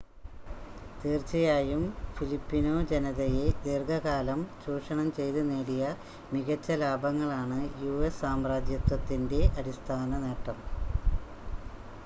തീർച്ചയായും ഫിലിപ്പിനോ ജനതയെ ദീർഘകാലം ചൂഷണം ചെയ്ത് നേടിയ മികച്ച ലാഭങ്ങളാണ് യുഎസ് സാമ്രാജ്യത്വത്തിൻ്റെ അടിസ്ഥാന നേട്ടം